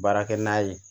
Baarakɛ n'a ye